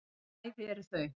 Bæði eru þau